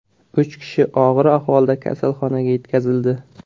Uch kishi og‘ir ahvolda kasalxonaga yetkazildi.